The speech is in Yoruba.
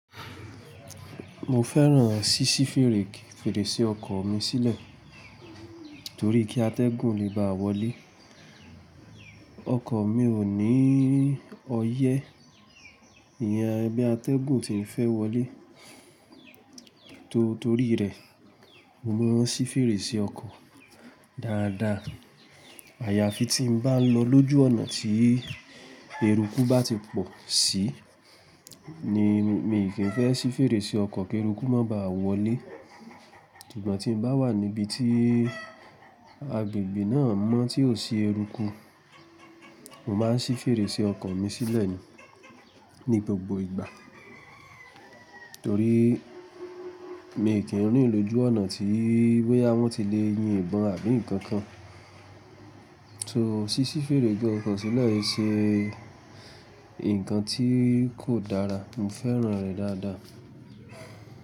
Mo fẹ́ràn ṣíṣí fèrèsé ọkọ̀ mi sílẹ̀, torí kí atẹ́gùn lè bá wọlé. Ọkọ̀ mi ò ní ọyẹ́, ìyẹ́ bí atẹ́gùn ti ń fẹ́ wọlé. Torí rẹ̀, mo máa ń sí fèrèsé ọkọ̀ dáadáa. Àyàfi tí mo bá lọ lójú ọ̀nà tí eruku bá ti pọ̀ sí ni mí kí ń fẹ́ sí fèrèsé ọkọ̀ kí eruku má báà wọlé. Ṣùgbọ́n tí n bá wà níbi tí agbègbè náà mọ́ tí ò sí eruku, mo máa ń sí fèrè sí ọkọ̀ mi sílẹ̀ ní gbogbo ìgbà. Torí mi ò kí ń rìn lójú ọ̀nà tí bóyá wọn ti lè yín ìbọn àbí nǹkan kan. So, síí fèrèsé ọkọ̀ sílẹ̀ ì ṣe nǹkan tí kò dára, mo fẹ́ràn rẹ̀ dáadáa.